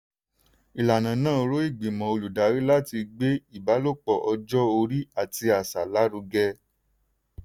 ìlànà náà rọ ìgbìmọ̀ olùdarí láti gbé ìbálòpọ̀ ọjọ́ orí àti àṣà lárugẹ.